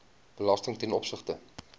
belasting ten opsigte